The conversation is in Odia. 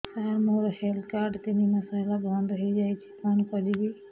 ସାର ମୋର ହେଲ୍ଥ କାର୍ଡ ତିନି ମାସ ହେଲା ବନ୍ଦ ହେଇଯାଇଛି କଣ କରିବି